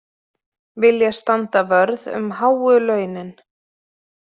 Vilja standa vörð um háu launin